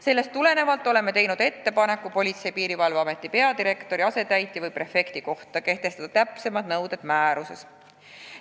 Sellest tulenevalt oleme teinud ettepaneku täpsemad nõuded Politsei- ja Piirivalveameti peadirektori, asetäitja või prefekti kohta kehtestada määruses.